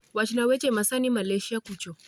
Wachna seche masani malaysia kucho